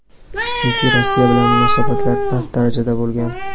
Chunki Rossiya bilan munosabatlar past darajada bo‘lgan.